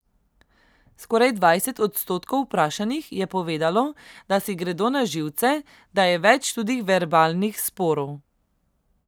Skoraj dvajset odstotkov vprašanih je povedalo, da si gredo na živce, da je več tudi verbalnih sporov.